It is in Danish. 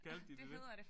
Kaldte de det det?